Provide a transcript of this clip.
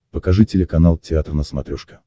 покажи телеканал театр на смотрешке